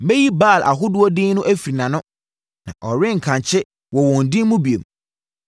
Mɛyi Baal ahodoɔ din no afiri nʼano; na ɔrenkankye wɔ wɔn din mu bio.